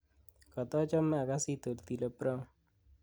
kotochome agasit otile brown